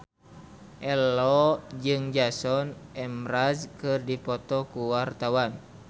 Ello jeung Jason Mraz keur dipoto ku wartawan